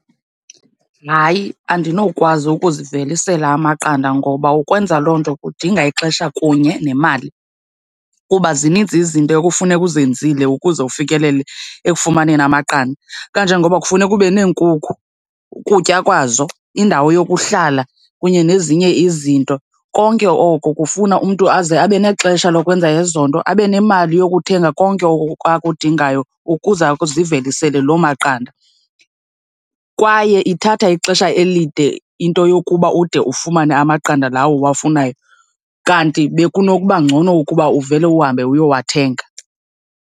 Hayi, andinowukwazi ukuzivelisela amaqanda ngoba ukwenza loo nto kudinga ixesha kunye nemali, kuba zininzi izinto ekufuneka uzenzile ukuze ufikelele ekufumaneni amaqanda. Kanje ngoba kufuneka ube neenkukhu, ukutya kwazo, indawo yokuhlala kunye nezinye izinto. Konke oko kufuna umntu aze abe nexesha lokwenza ezo nto, abe nemali yokuthenga konke oko akudingayo ukuze azivelisele loo maqanda. Kwaye ithatha ixesha elide into yokuba ude ufumane amaqanda lawo uwafunayo. Kanti bekunokuba ngcono ukuba uvele uhambe uyowathenga.